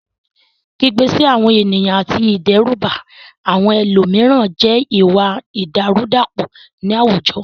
Kígbe sí àwọn ènìyàn àti ìdẹ́rùbà àwọn ẹlòmíràn jẹ́ ìwà ìdàrúdàpọ̀ ní àwùjọ.